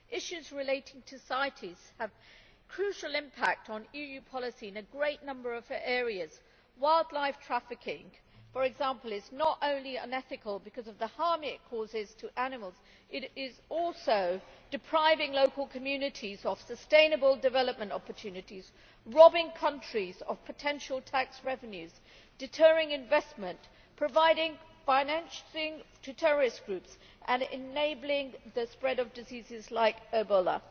Issues relating to CITES have a crucial impact on EU policy in a great number of areas. Wildlife trafficking, for example, is not only unethical because of the harm it causes to animals, but is also depriving local communities of sustainable development opportunities, robbing countries of potential tax revenues, deterring investment, providing financing to terrorist groups and enabling the spread of diseases like Ebola.